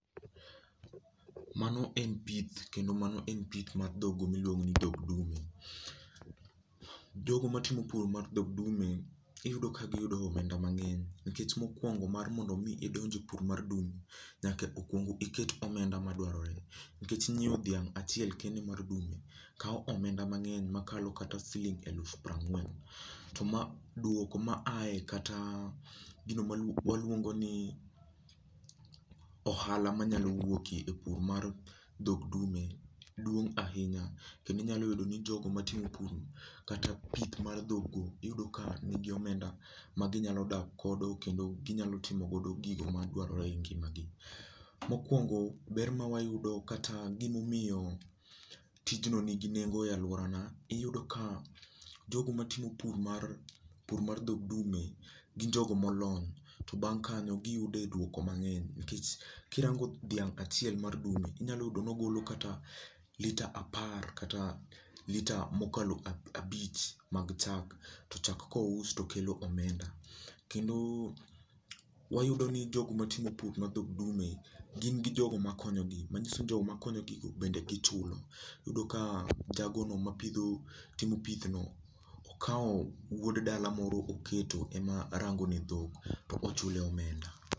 Mano en pith kendo mano en pith mar dhogo miluongo ni dhog dume. Jogo matimo pur mar dhog dume iyudo ka giyudo omenda mang'eny nikech mokuongo mar mondo mii idonj e pur mar dume nyaka okuongo iket omenda madwarore nikech nyieo dhiang achiel kende mar dume kao omenda mang'eny makalo kata siling alufu pirangwen. To dwoko ma ae kata gino mwaluongo ni ohala manyalo wuoke ohala mar pur mar dhok dume duong' ahinya kendo inyalo yudo ni jogo matimo pur kata pith mar dhogo iyudo ka nigi omenda ma ginyalo dak godo kendo ginyalo timo godo gigo madwarore e ngimagi mokwongo ber mawayudo kata gimaomiyo tijno ni gi nengo e lworana iyudo ka jogo matimo pur mar dhog dume gin jogomolony to bang kanyo giyude dwoko mangeny nikech kirango dhiang achiel mar dume inyalo yude ni ogolo kata litre apar kata litre mokalo abich mag chak to chak kousi to kelo omenda. Kendo wayudo ni jogo matimo pur mar dho dume gin gi jogo makonyogi manyiso ni jogo makonyogi bende gichulo iyudo ka jago no matimo pith no okao wuod dala moro emoketo rango ne dhok to ochule omenda